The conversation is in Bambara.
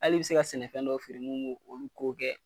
Al'i be se ka sɛnɛfɛn dɔw feere mun b'o olu t'o kɛ